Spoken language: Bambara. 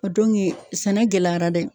sɛnɛ gɛlɛyara dɛ